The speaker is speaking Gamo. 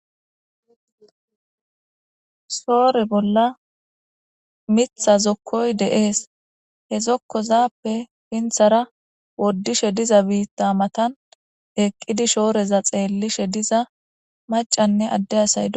Soore bolla mitha zokkoy de'es he zokkozappe pinthara woddishe diza biitta matan eqqidi shooreza xeellishe diza macanne adde asaydo